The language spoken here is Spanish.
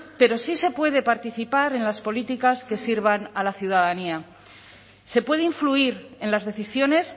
pero sí se puede participar en las políticas que sirvan a la ciudadanía se puede influir en las decisiones